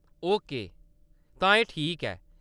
Okay, तां एह् ठीक ऐ।